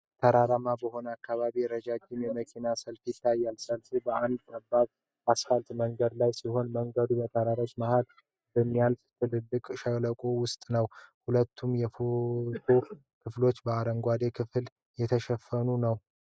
ተራራማ በሆነ አካባቢ ረጅም የመኪና ሰልፍ ይታያል። ሰልፉ በአንድ ጠባብ አስፋልት መንገድ ላይ ሲሆን፣ መንገዱ በተራሮች መካከል በሚያልፍ ጥልቅ ሸለቆ ውስጥ ነው። ሁለቱም የፎቶው ክፍሎች በአረንጓዴ ተክል ተሸፍነዋል።